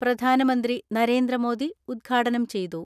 പ്രധാനമന്ത്രി നരേന്ദ്രമോദി ഉദ്ഘാടനം ചെയ്തു.